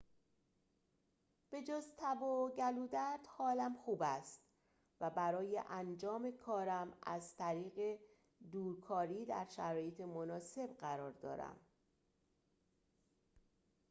به‌جز تب و گلودرد حالم خوب است و برای انجام کارم از طریق دورکاری در شرایط مناسب قرار دارم